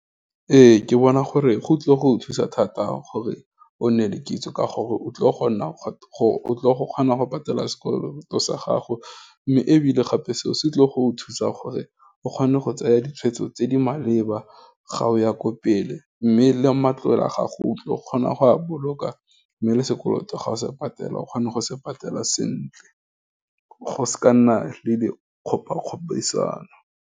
Ee, ke bona gore, go tlile go thusa thata gore, o nne le kitso ka gore o tlile go kgona go patela sekolo sa gago, mme ebile gape seo se tlile go o thusa gore o kgone, go tsaya ditshwetso tse di maleba, ga o ya ko pele, mme le matlole a gago, o tlile go kgona go a boloka, mme le sekoloto ga o se patela o kgona go se patela sentle, go se ka nna le di kgopakgodisano.